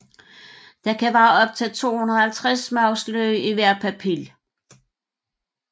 Der kan være op til 250 smagsløg i hver papil